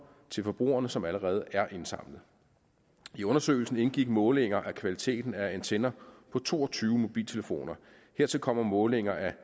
til forbrugerne som allerede er indsamlet i undersøgelsen indgik målinger af kvaliteten af antenner på to og tyve mobiltelefoner hertil kommer målinger af